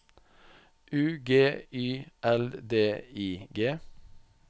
U G Y L D I G